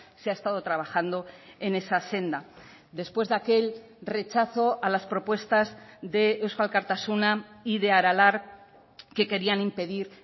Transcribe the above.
se ha estado trabajando en esa senda después de aquel rechazo a las propuestas de eusko alkartasuna y de aralar que querían impedir